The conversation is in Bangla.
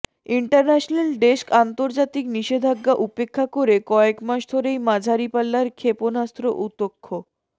ইন্টারন্যাশনাল ডেস্কঃ আন্তর্জাতিক নিষেধাজ্ঞা উপেক্ষা করে কয়েক মাস ধরেই মাঝারি পাল্লার ক্ষেপণাস্ত্র উৎক্ষ